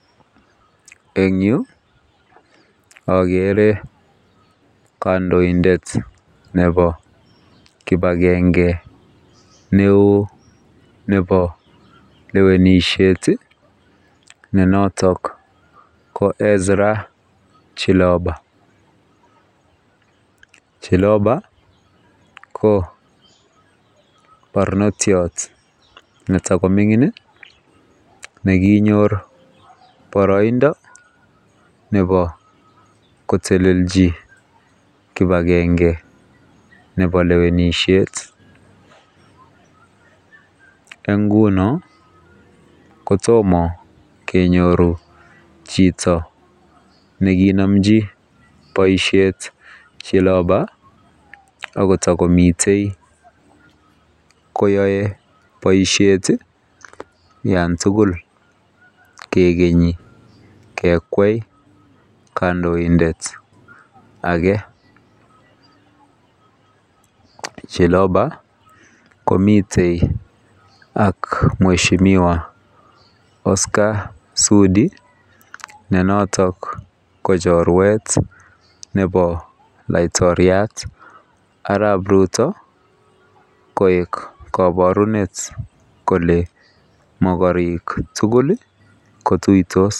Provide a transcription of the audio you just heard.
Eng yuu ogere kandoindet nebo kipagenge neo nebo lewenisiet iih ne notok ko Ezra Chiloba, Chiloba ko barnotiot neta komingin nekinyor boroindo kotelelji kipagenge nebo lewenisiet eng ngunon kotomo kenyor chito nekinomji boisiet Chiloba agot yetokomiten koyoe boisiet Yan tugul kigeni kegwai kandoindet age. Chiloba komiten ak mweshimiwa Oscar Sudi ne noton ko chorwet nebo laitotiat Arap Ruto koik kaborunet kole mokorek tugul iih kotuitos.